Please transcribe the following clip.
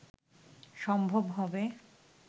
সম্ভব হবে